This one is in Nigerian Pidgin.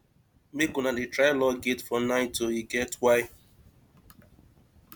make una dey try lock gate for night o e get why